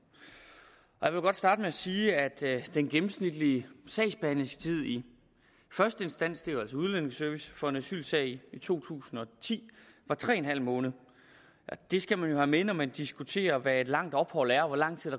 jeg vil godt starte med at sige at den gennemsnitlige sagsbehandlingstid i første instans det er jo altså udlændingeservice for en asylsag i to tusind og ti var tre en halv måned det skal man jo have med når man diskuterer hvad et langt ophold er og hvor lang tid